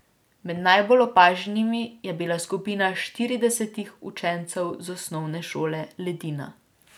Med najbolj opaženimi je bila skupina štiridesetih učencev z Osnovne šole Ledina.